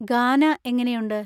ഗാന എങ്ങനെയുണ്ട്?